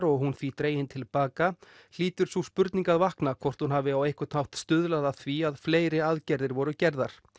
og hún því dregin til baka hlýtur sú spurning að vakna hvort hún hafi á einhvern hátt stuðlað að því að fleiri aðgerðir voru gerðar